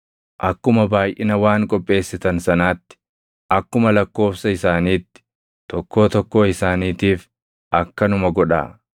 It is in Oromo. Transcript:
Akkuma baayʼina waan qopheessitan sanaatti akkuma lakkoobsa isaaniitti, tokkoo tokkoo isaaniitiif akkanuma godhaa.